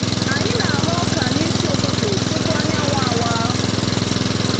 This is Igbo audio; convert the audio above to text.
Anyi na aghọ ọka n'isi ụtụtụ tupu anyanwụ awa.